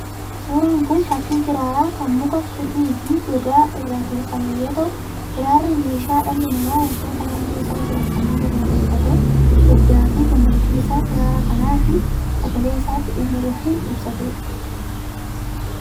Suuraan kun fakkii kiraaraa kan mukaa, kirrii fi gogaa irraa tolfamee yoo ta'u, kiraarri meeshaa dhalli namaa wantoota naannoo isaa jiran kanneen irraa tolfatee gaddaa fi gammachuu isaa kiraara kanaa fi sagalee isaatti dhimma ba'uun ibsatudha.